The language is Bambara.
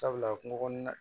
Sabula kungo kɔnɔna